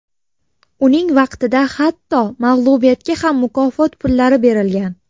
Uning vaqtida hatto mag‘lubiyatga ham mukofot pullari berilgan.